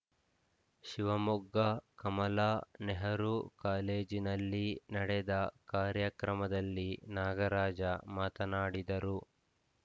ಶಿವಮೊಗ್ಗ ಕಮಲಾ ನೆಹರು ಕಾಲೇಜಿನಲ್ಲಿ ನಡೆದ ಕಾರ್ಯಕ್ರಮದಲ್ಲಿ ನಾಗರಾಜ ಮಾತನಾಡಿದರು